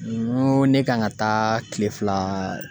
N ko ne kan ka taa kile fila